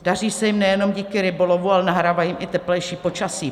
Daří se jim nejenom díky rybolovu, ale nahrává jim i teplejší počasí.